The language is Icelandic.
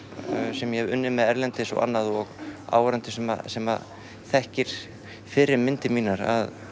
sem ég hef unnið með erlendis og áhorfendur sem sem þekkja fyrri myndir mínar